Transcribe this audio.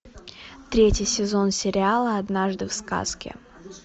третий сезон сериала однажды в сказке